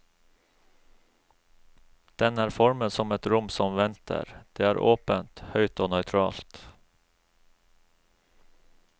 Den er formet som et rom som venter, det er åpent, høyt og nøytralt.